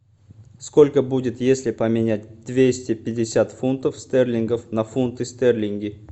сколько будет если поменять двести пятьдесят фунтов стерлингов на фунты стерлинги